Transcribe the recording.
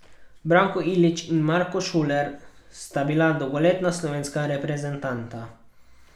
Branko Ilić in Marko Šuler sta bila dolgoletna slovenska reprezentanta.